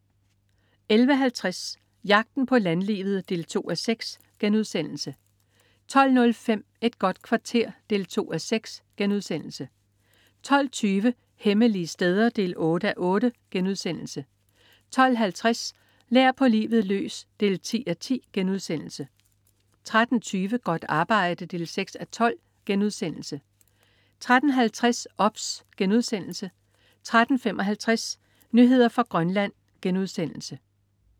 11.50 Jagten på landlivet 2:6* 12.05 Et godt kvarter 2:6* 12.20 Hemmelige steder 8:8* 12.50 Lær på livet løs 10:10* 13.20 Godt arbejde 6:12* 13.50 OBS* 13.55 Nyheder fra Grønland*